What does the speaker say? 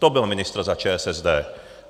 To byl ministr za ČSSD.